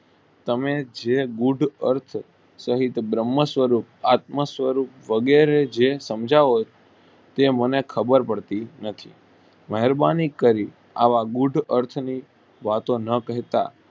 તમે જે બુર્ધ અર્થ સહીત બ્રહ્મન સ્વરૂપ આત્મ સ્વરૂપ વગેરે જે સમજા હોઈ તે મને ખબર પડતી નથી મહેરબાની કરી આવા ગુડ અર્થ ની વાતો ન કરતા.